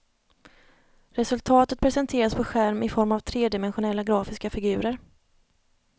Resultatet presenteras på skärm i form av tredimensionella grafiska figurer.